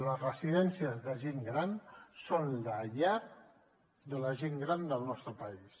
les residències de gent gran són la llar de la gent gran del nostre país